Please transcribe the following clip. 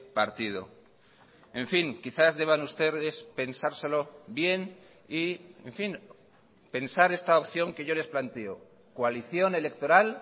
partido en fin quizás deban ustedes pensárselo bien y en fin pensar esta opción que yo les planteo coalición electoral